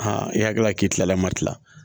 i hakili la k'i kilala matila